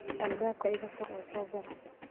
Albaabka iga fur oo soo gal.